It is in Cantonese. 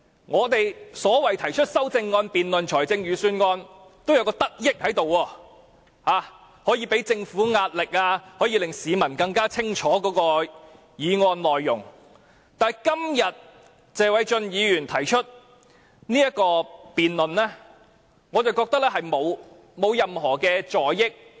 我們就財政預算案提出的修正案的辯論是有益的，例如可向政府施壓、令市民更清楚議案內容，但謝偉俊議員今天提出的議案，我認為並無任何助益。